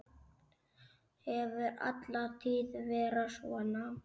Hefur alla tíð verið svona.